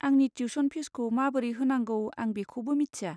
आंनि टिउस'न फिजखौ माबोरै होनांगौ आं बेखौबो मिथिया।